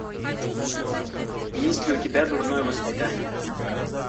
есть ли у тебя дурное воспитание